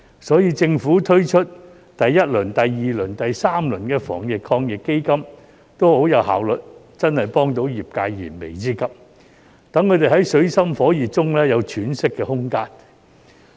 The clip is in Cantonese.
所以，政府推出第一輪、第二輪、第三輪防疫抗疫基金都很有效率，真的幫助到業界解燃眉之急，讓他們在水深火熱中有喘息的空間。